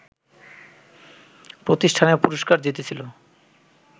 প্রতিষ্ঠানের পুরষ্কার জিতেছিল